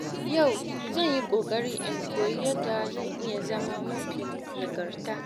Yau, zan yi ƙoƙari in koyi yadda zan iya zama mafi nagarta.